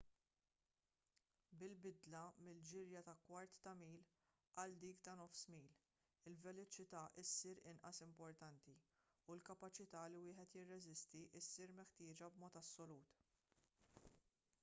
bil-bidla mill-ġirja ta' kwart ta' mil għal dik ta' nofs mil il-veloċità ssir inqas importanti u l-kapaċità li wieħed jirreżisti ssir meħtieġa b'mod assolut